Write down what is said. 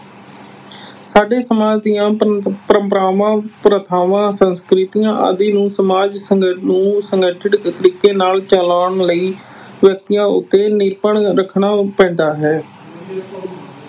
ਸਾਡੇ ਸਮਾਜ ਦੀਆਂ ਪ੍ਰੰਪਰਾਵਾਂ, ਪ੍ਰਥਾਵਾਂ, ਸੰਸਕ੍ਰਿਤੀਆਂ ਆਦਿ ਨੂੰ ਸਮਾਜ ਅਹ ਨੂੰ ਸੰਗਠਿਤ ਤਰੀਕੇ ਨਾਲ ਚਲਾਉਣ ਲਈ ਵਿਅਕਤੀਆਂ ਉੱਤੇ ਨਿਯੰਤਰਣ ਰੱਖਣਾ ਪੈਂਦਾ ਹੈ।